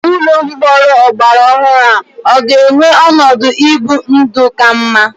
Ụlọ mkpọrọ ọgbara ọhụrụ ọ ga-enwe ọnọdụ ibi ndụ ka mma?